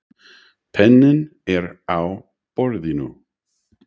Penninn er á borðinu.